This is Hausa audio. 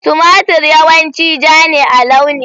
Tumatir yawanci ja ne a launi.